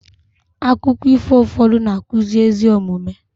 akụkọ ifo ụfọdụ na-akụzi ezi omume